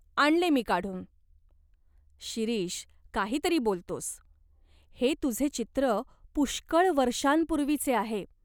आणले मी काढून." "शिरीष, काही तरी बोलतोस. हे तुझे चित्र पुष्कळ वर्षांपूर्वीचे आहे.